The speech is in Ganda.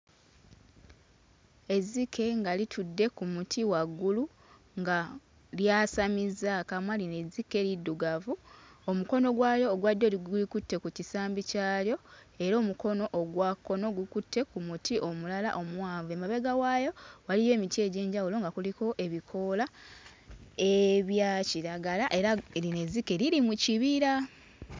Ezzike nga litudde ku muti waggulu nga lyasamizza akamwa. Lino ezzike liddugavu omukono gwalyo ogwa ddyo li gulikutte ku kisambi kyalyo era omukono ogwa kkono gukutte ku muti omulala omuwanvu. Emabega waayo waliyo emiti egy'enjawulo nga kuliko ebikoola ebya kiragala era lino ezzike liri mu kibira.